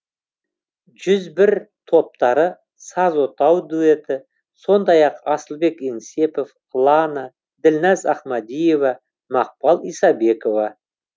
жүз бір топтары саз отау дуэті сондай ақ асылбек еңсепов лана ділназ ахмадиева мақпал исабекова